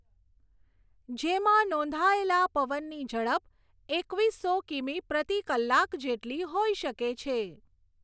જેમાં નોંધાયેલા પવનની ઝડપ એકવીસો કિમી પ્રતિ કલાક જેટલી હોઈ શકે છે.